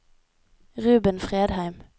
Ruben Fredheim